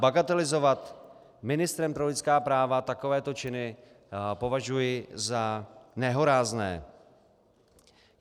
Bagatelizovat ministrem pro lidská práva takovéto činy považuji za nehorázné.